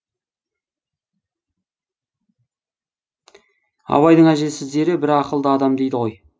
абайдың әжесі зере бір ақылды адам дейді ғой